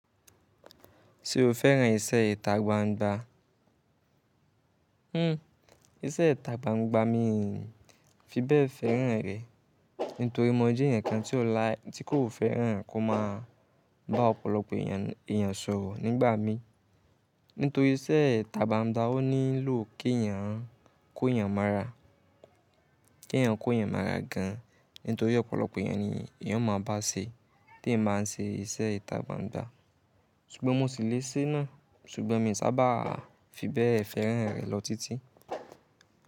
Ṣé o fẹ́ràn iṣẹ́ ìta gbangba? Iṣẹ́ ìta gbangba mi fi bẹ́ẹ̀ fẹ́ràn rẹ̀, nítori mo mọ̀ ọ́ jẹ́ ǹkan tí kò fẹ́ràn kó má ba ọ̀pọ̀lọpọ̀ èèyàn sọ̀rọ̀ nígbà mí. Nítorí iṣẹ́ ìta gbangba ó nílò kí èèyàn kó èèyàn mọ́ra, kí èèyàn kó èèyàn mọ́ra gan an. Nítorí ọ̀pọ̀lọpọ̀ èèyàn ni èèyàn máa bá ṣe tí ẹ máa ń ṣe iṣẹ́ ìta gbangba. Sugbọn mo sì lè sé náà, ṣùgbọ́n mi ò sábà fi bẹ́ẹ̀ fẹ́ràn rẹ̀ lọ títí.